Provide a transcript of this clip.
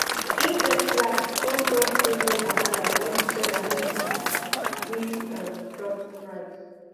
en first laugh come talk say no wahala when the seller no um gree um drop the price